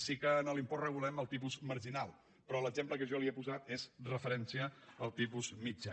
sí que en l’impost regulem el tipus marginal però l’exemple que jo li he posat és amb referència al tipus mitjà